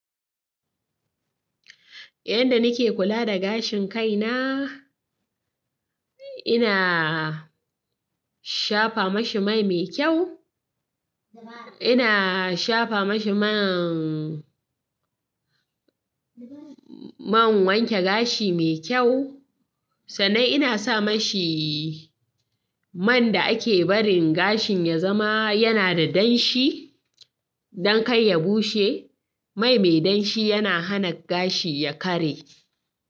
Yanda nike kula da gashin kaina, ina shafa mashi mai me kyau, ina shafa mashi man, man wanke gashi me kyau, sannan ina sa mashi man da ake barin gashin ya zama yana da danshi don kai ya bushe. Mai me danshi yana hana gashi ya karye.